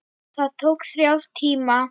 Það tók þrjá tíma.